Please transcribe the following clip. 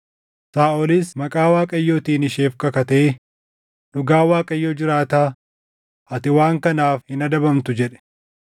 Saaʼolis maqaa Waaqayyootiin isheef kakatee, “Dhugaa Waaqayyo jiraataa, ati waan kanaaf hin adabamtu” jedhe.